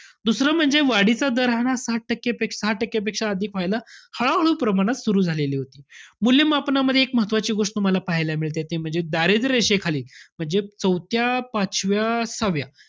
दुसरं म्हणजे वाढीचा दर राहणार साठ टक्केपेक्षा~ सहा टक्केपेक्षा अधिक व्हायला हळूहळू प्रमाणात सुरु झालेली होती. मूल्यमापनामध्ये, एक महत्वाची गोष्ट तुम्हाला पाहायला मिळते. ते म्हणजे दारिद्र्य रेषेखाली म्हणजे चौथ्या, पाचव्या, सहाव्या,